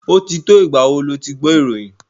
Ó ti tó ìgbà wo lo ti gbọ́ ìròyìn?